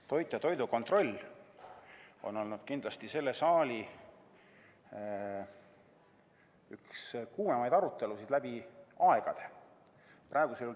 Toit ja toidukontroll on kindlasti olnud selle saali üks kuumemaid aruteluteemasid läbi aegade.